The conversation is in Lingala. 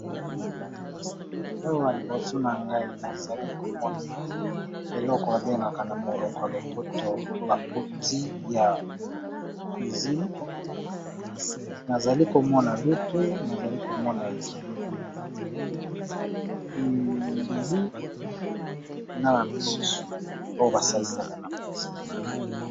Awa liboso na ngai nazali komona eloko babengaka na monoko ya lopoto ba outil ya cuisine nazali komona lutu ,mbeli, na biloko mosusu basalisaka na cuisine.